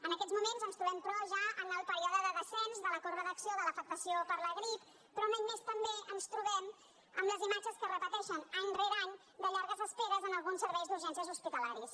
en aquests moments ens trobem però ja en el període de descens de la corba d’acció de l’afectació per la grip però un any més també ens trobem amb les imatges que es repeteixen any rere any de llargues esperes en alguns serveis d’urgències hospitalàries